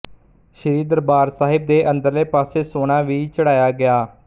ਸ੍ਰੀ ਦਰਬਾਰ ਸਾਹਿਬ ਦੇ ਅੰਦਰਲੇ ਪਾਸੇ ਸੋਨਾ ਵੀ ਚੜ੍ਹਾਇਆ ਗਿਆ